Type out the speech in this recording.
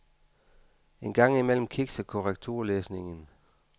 En gang imellem kikser korrekturlæsningen.